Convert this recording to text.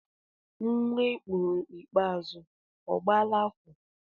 Nnwa I mụrụ ikpeazụ ọ agbaala afọ?